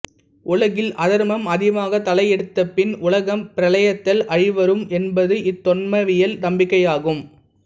உலகில் அதர்மம் அதிகமாக தலையெடுத்தப் பின் உலகம் பிரளயத்தால் அழிவுரும் என்பது இந்து தொன்மவியல் நம்பிக்கையாகும்